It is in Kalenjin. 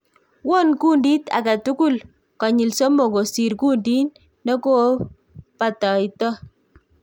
Won kundit agetul konyil somok kosir kundit nekobataito